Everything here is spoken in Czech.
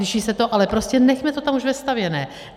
Liší se to, ale prostě nechme to tam už vestavěné.